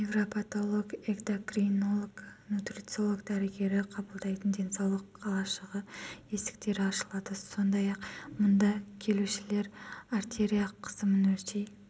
невропатолог экдокринолог нутрициолог дәрігері қабылдайтын денсаулық қалашығы есіктері ашылады сондай-ақ мұнда келушілер артерия қысымын өлшей